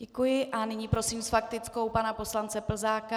Děkuji a nyní prosím s faktickou pana poslance Plzáka.